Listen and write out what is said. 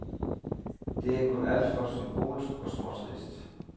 Det er kun alt for symbolsk og småtrist.